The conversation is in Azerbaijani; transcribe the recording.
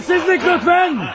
Səssizlik lütfən!